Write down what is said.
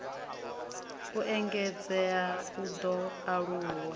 u engedzea u ḓo aluwa